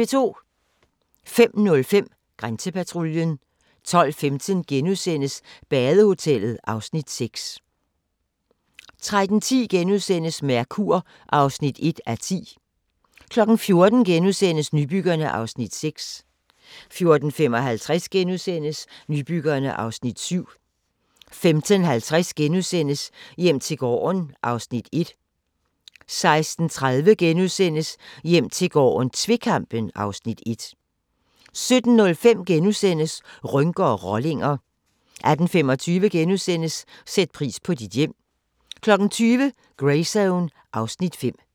05:05: Grænsepatruljen 12:15: Badehotellet (Afs. 6)* 13:10: Mercur (1:10)* 14:00: Nybyggerne (Afs. 6)* 14:55: Nybyggerne (Afs. 7)* 15:50: Hjem til gården (Afs. 1)* 16:30: Hjem til gården - tvekampen (Afs. 1)* 17:05: Rynker og rollinger * 18:25: Sæt pris på dit hjem * 20:00: Greyzone (Afs. 5)